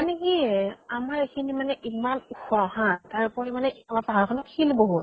মানে কি এহ আমাৰ এইখিনিত মানে ইমান ওখ হা, তাৰ উপৰিও আমাৰ পাহাৰ খনত শিল বহুত।